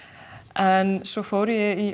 en svona fór ég í